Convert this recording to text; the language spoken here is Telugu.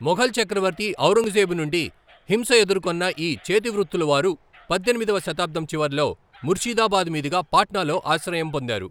మొఘల్ చక్రవర్తి ఔరంగజేబు నుండి హింస ఎదుర్కొన్న ఈ చేతివృత్తులవారు పద్దెనిమిదవ శతాబ్దం చివర్లో ముర్షిదాబాద్ మీదుగా పాట్నాలో ఆశ్రయం పొందారు.